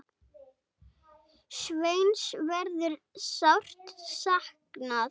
Sveins verður sárt saknað.